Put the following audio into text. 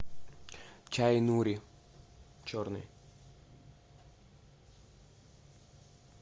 чай нури черный